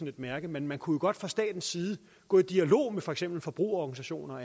et mærke men man kunne jo godt fra statens side gå i dialog med for eksempel forbrugerorganisationer og